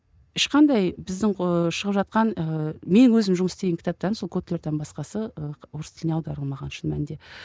ешқандай біздің ыыы шығып жатқан ыыы менің өзім жұмыс істеген кітаптан сол котлерден басқасы ы орыс тіліне аударылмаған шын мәнінде